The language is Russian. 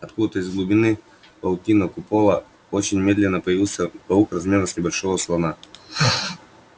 откуда-то из глубины паутинного купола очень медленно появился паук размером с небольшого слона